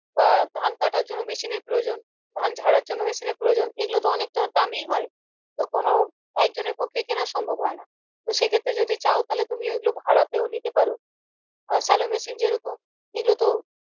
বা ধান কাটার জন্য machine এর প্রয়োজন ধান ঝাড়ার জন্য machine এর প্রয়োজন এগুলো তো অনেকটা দামি হয় তো কোনো একজনের কেনার পক্ষে সম্ভব হয় না তো সেক্ষত্রে যদি চাও ওগুলো ভাড়াতেও নিতে পারো machine যেরকম এগুলো তো